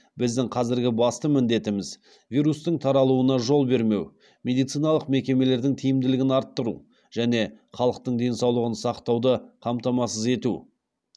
біздің қазіргі басты міндетіміз вирустың таралуына жол бермеу медициналық мекемелердің тиімділігін арттыру және халықтың денсаулығын сақтауды қамтамасыз ету